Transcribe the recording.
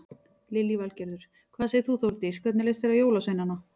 Lillý Valgerður: Hvað segir þú Þórdís, hvernig leist þér á jólasveinana?